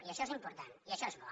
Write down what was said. i això és important i això és bo